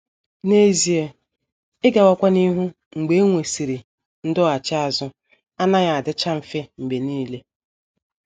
N’ezie, ịgawakwa n’ihu mgbe e nwesịrị ndọghachi azụ anaghị adịcha mfe mgbe nile.